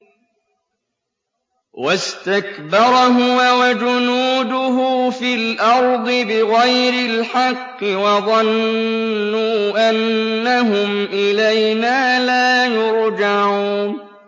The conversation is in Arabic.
وَاسْتَكْبَرَ هُوَ وَجُنُودُهُ فِي الْأَرْضِ بِغَيْرِ الْحَقِّ وَظَنُّوا أَنَّهُمْ إِلَيْنَا لَا يُرْجَعُونَ